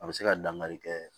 A bɛ se ka dangari kɛ